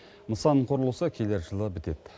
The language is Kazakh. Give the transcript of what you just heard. нысан құрылысы келер жылы бітеді